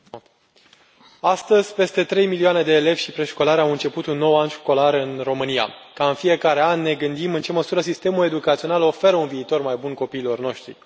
Doamnă președintă, astăzi, peste trei milioane de elevi și preșcolari au început un nou an școlar în România. Ca în fiecare an, ne gândim în ce măsură sistemul educațional oferă un viitor mai bun copiilor noștri.